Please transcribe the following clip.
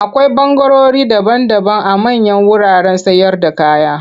Akwai ɓangarori daban-daban a manyan wuraren sayarda kaya.